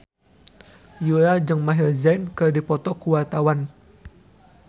Yura jeung Maher Zein keur dipoto ku wartawan